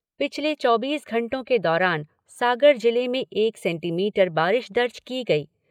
पिछले चौबीस घंटों के दौरान सागर जिले में एक सेंटीमीटर बारिश दर्ज की गई।